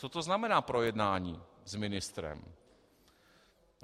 Co to znamená projednání s ministrem?